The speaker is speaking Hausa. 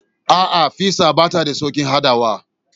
A'a, fiza bata da sauƙin haɗawa.